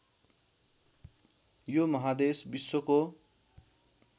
यो महादेश विश्वको